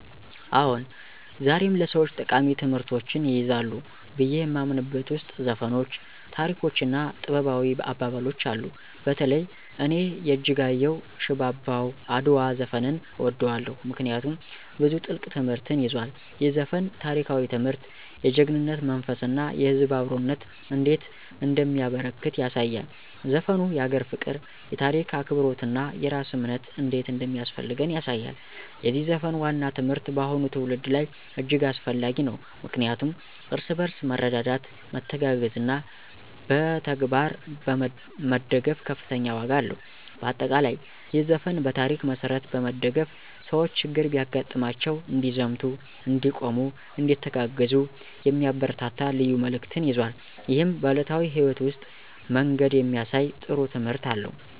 አዎን፣ ዛሬም ለሰወች ጠቃሚ ትምህርቶችን ይይዛሉ ብዬ የማምንበት ውስጥ ዘፈኖች፣ ታሪኮች እና ጥበባዊ አባባሎች አሉ። በተለይ እኔ የእጅጋየሁ “ሽባባው አድዋ” ዘፈንን እወደዋለሁ፤ ምክንያቱም ብዙ ጥልቅ ትምህርትን ይዟል። ይህ ዘፈን ታሪካዊ ትምህርት፣ የጀግናነት መንፈስ እና የህዝብ አብሮነት እንዴት እንደሚያበረከት ያሳያል። ዘፈኑ የአገር ፍቅር፣ የታሪክ አክብሮት እና የራስ እምነት እንዴት እንደሚያስፈልገን ያሳያል። የዚህ ዘፈን ዋና ትምህርት በአሁኑ ትውልድ ላይ እጅግ አስፈላጊ ነው፣ ምክንያቱም እርስ በርስ መረዳዳት፣ መተጋገዝ እና በተግባር መደገፍ ከፍተኛ ዋጋ አለው። በአጠቃላይ፣ ይህ ዘፈን በታሪክ መሠረት በመደገፍ ሰዎች ችግር ቢያጋጥማቸው እንዲዘምቱ፣ እንዲቆሙ፣ እንዲተጋገዙ የሚያበረታታ ልዩ መልዕክትን ይዟል። ይህም በዕለታዊ ሕይወት ውስጥ መንገድ የሚያሳይ ጥሩ ትምህርት አለው።